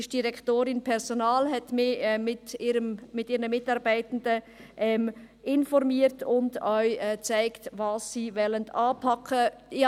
Die Direktorin Personal informierte mich mit ihren Mitarbeitenden und zeigte auch auf, was sie anpacken wollen.